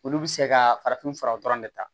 Olu bɛ se ka farafin furaw dɔrɔn de ta